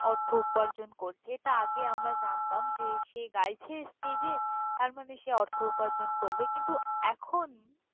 অর্থ উপার্জন করছে। এটা আগে আমরা জানতাম যে সে গাইছে stage এ, তার মানে সে অর্থ উপার্জন করবে। কিন্তু এখন।